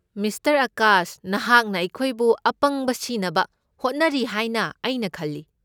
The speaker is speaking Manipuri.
ꯃꯤꯁꯇꯔ ꯑꯥꯀꯥꯁ, ꯅꯍꯥꯛꯅ ꯑꯩꯈꯣꯏꯕꯨ ꯑꯄꯪꯕ ꯁꯤꯅꯕ ꯍꯣꯠꯅꯔꯤ ꯍꯥꯏꯅ ꯑꯩꯅ ꯈꯜꯂꯤ꯫